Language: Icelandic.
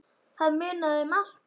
Það munaði um allt.